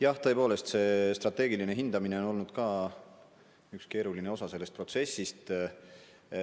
Jah, tõepoolest, strateegiline hindamine on olnud üks keeruline osa sellest protsessist.